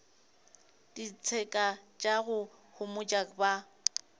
ditseka tša go homotša ba